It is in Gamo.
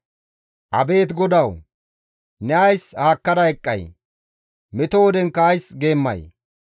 Abeet GODAWU! Ne ays haakkada eqqay? Meto wodenkka ays geemmay?